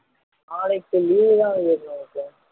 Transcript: நாளைக்கு leave தான் விவேக் நமக்கு